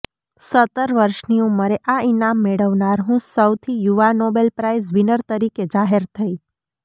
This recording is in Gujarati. સત્તર વર્ષની ઉંમરે આ ઇનામ મેળવનાર હું સૌથી યુવા નોબેલ પ્રાઈઝ વિનર તરીકે જાહેર થઇ